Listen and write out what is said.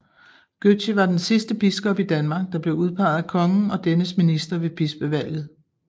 Gøtzsche var den sidste biskop i Danmark der blev udpeget af kongen og dennes minister ved bispevalget